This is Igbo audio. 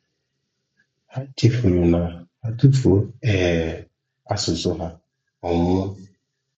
Ha chefuru na ha tufuo um asụsụ ha, ọ nwụọ.